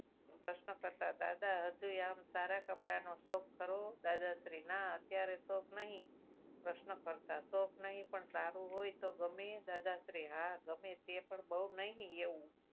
પ્રશ્નકર્તા દાદા હજુય આમ સારા કપડાનો શોખ ખરો દાદાશ્રી ના અત્યારે શોખ નહીં પ્રશ્નકર્તા શોખ નહીં પણ સારું હોય તો ગમે દાદા શ્રી હા ગમે તે પણ બહુ નહીં એવું.